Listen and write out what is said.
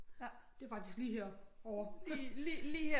Det er faktisk lige herovre